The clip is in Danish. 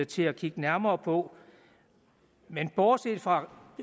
til at kigge nærmere på men bortset fra